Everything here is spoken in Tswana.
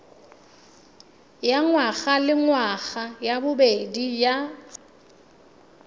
ya ngwagalengwaga ya bobedi ya